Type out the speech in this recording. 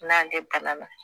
N'an tɛ